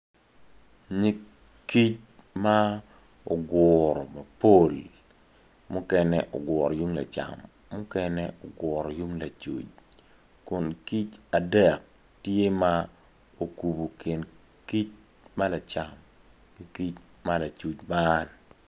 Nyig kic ma oguru mapol mukene oguro yung lacam mukene oguro yung lacuc kun kic adek tye ma okubu kin kic ma lacm ki kic ma lacuc man